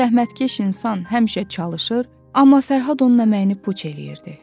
Bu zəhmətkeş insan həmişə çalışır, amma Fərhad onun əməyini puç eləyirdi.